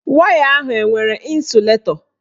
Waya ahụ enwere ịnsụlatọ?